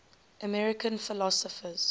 american philosophers